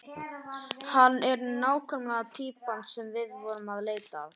Hann er nákvæmlega týpan sem við vorum að leita að.